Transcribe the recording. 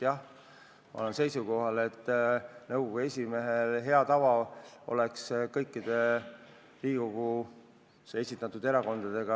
Jah, ma olen seisukohal, et hea tava kohaselt oleks nõukogu esimees võinud suhelda kõikide Riigikogus esindatud erakondadega.